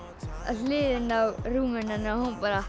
hliðina á rúminu hennar og hún bara